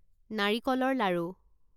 নাৰিকলৰ লাড়ু